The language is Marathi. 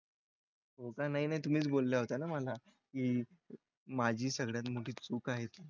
हो का, नाही नाही तुम्हीच बोलल्या होत्या ना मला की माझी सगळ्यात मोठी चूक आहे तू.